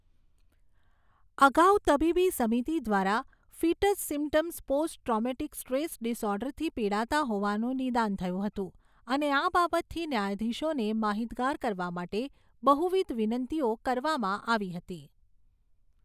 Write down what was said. અગાઉ તબીબી સમિતિ દ્વારા ફીટસ સીમ્પટમ્સ પોસ્ટ ટ્રૉમેટિક સ્ટ્રેસ ડિસઑર્ડરથી પિડાતા હોવાનું નિદાન થયું હતું અને આ બાબતથી ન્યાયાધીશોને માહિતગાર કરવા માટે બહુવિધ વિનંતીઓ કરવામાં આવી હતી